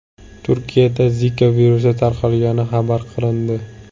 Turkiyada Zika virusi tarqalgani xabar qilindi.